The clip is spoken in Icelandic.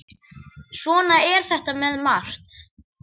Svona er þetta með margt.